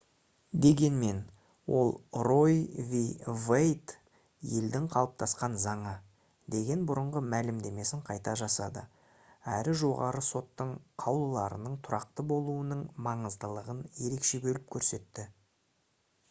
дегенмен ол «roe v. wade» «елдің қалыптасқан заңы» деген бұрынғы мәлімдемесін қайта жасады әрі жоғарғы соттың қаулыларының тұрақты болуының маңыздылығын ерекше бөліп көрсетті